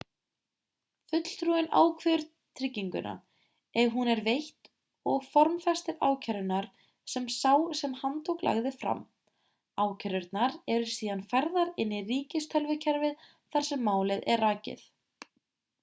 fulltrúinn ákveður trygginguna ef hún er veitt og formfestir ákærurnar sem sá sem handtók lagði fram ákærurnar eru síðan færðar inn í ríkistölvukerfið þar sem málið er rakið